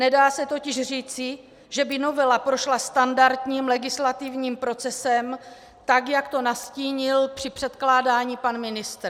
Nedá se totiž říci, že by novela prošla standardním legislativním procesem tak, jak to nastínil při předkládání pan ministr.